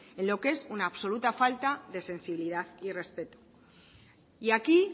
en lo que es una absoluta falta de sensibilidad y respeto y aquí